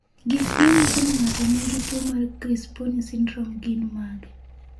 Gik manyiso ni ng'ato nigi tuwo mar Crisponi syndrome gin mage?